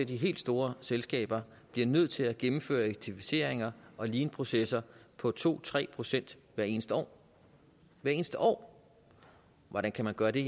de helt store selskaber bliver nødt til at gennemføre effektiviseringer og leanprocesser på to tre procent hvert eneste år hvert eneste år hvordan kan man gøre det